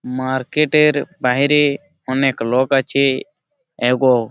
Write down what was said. market এর বাহিরে অনেক লোক আছে-এ এব--